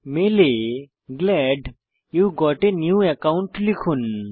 মেলে glad you got a new account লিখুন